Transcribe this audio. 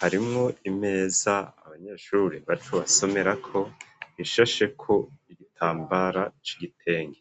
harimwo imeza abanyeshure bacu basomerako ishasheko igitambara c'igitenge.